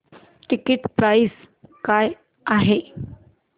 ticket price काय आहे